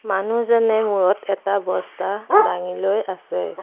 মানুহজনে মূৰত এটা বস্তা দাঙি লৈ আছে।